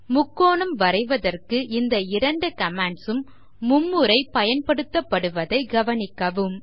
முக்கோணம் வரைவதற்கு இந்த இரண்டு commands ம் மும்முறை பயன்படுத்தப்படுவதை கவனிக்கவும்